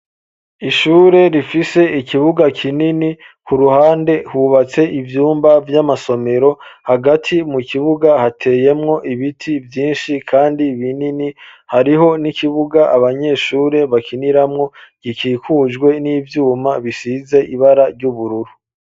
Ishure rifise ikibuga kinini ku ruhande hubatse ivyumba vy'amasomero hagati mu kibuga hateyemwo ibiti vyinshi, kandi binini hariho n'ikibuga abanyeshure bakiniramwo gikikujwe n'ivyuma bisize ibara ry'ubururu.